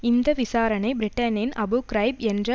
இந்த விசாரணை பிரிட்டனின் அபு கிரைப் என்று